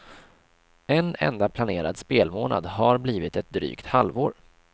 En enda planerad spelmånad har blivit ett drygt halvår.